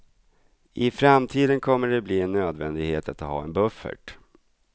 I framtiden kommer det att bli en nödvändighet att ha en buffert.